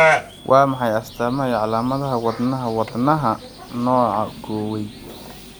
Waa maxay astamaha iyo calaamadaha Wadnaha wadnaha nooca Kuwaiti?